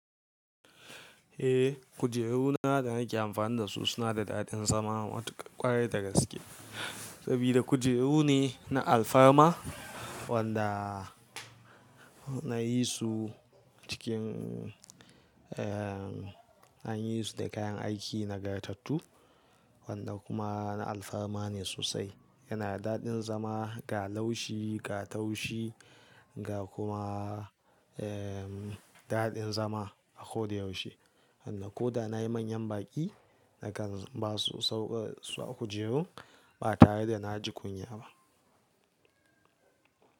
Eh, kujeru na da nake amfani da su suna da daɗin zama matuƙa ƙwarai da gaske. Sabida kujeru ne na alfarma wanda na yi su cikin, an yi su da kayan aiki nagartattu wanda kuma na alfarma ne sosai. Yana da daɗin zama ga laushi, ga taushi ga kuma daɗin zama a ko da yaushe. Sannan ko da na yi manyan baƙi nakan basu sauƙar su a kujerun ba tare da na ji kunya ba.